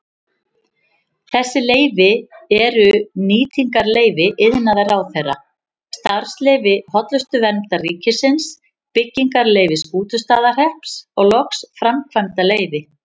Þessi leyfi eru nýtingarleyfi iðnaðarráðherra, starfsleyfi Hollustuverndar ríkisins, byggingarleyfi Skútustaðahrepps og loks framkvæmdaleyfi.